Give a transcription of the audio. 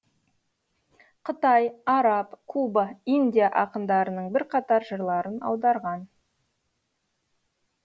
қытай араб куба индия ақындарының бірқатар жырларын аударған